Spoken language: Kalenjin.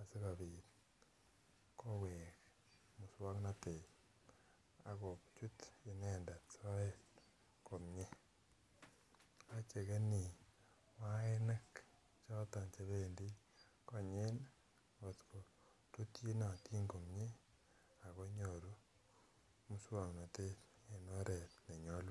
asikopit koweki muswoknotet ak kochut inendet soet komie, ichekeni wainik choton chependii konyin kotko rutyinotin komie ako nyoru muswoknotet en oret nenyolunot.